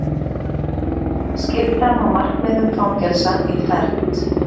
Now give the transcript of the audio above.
Skipta má markmiðum fangelsa í fernt.